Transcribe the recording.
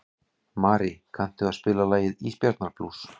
Marí, kanntu að spila lagið „Ísbjarnarblús“?